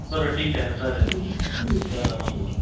बर ठीक आहे ना चालेल ना करा मग काम